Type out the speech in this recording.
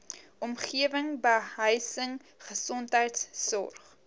omgewing behuising gesondheidsorg